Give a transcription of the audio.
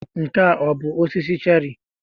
Nke a ọ bụ osisi cherị?